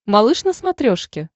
малыш на смотрешке